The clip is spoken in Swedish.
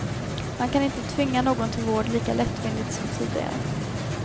Man kan inte tvinga någon till vård lika lättvindigt som tidigare.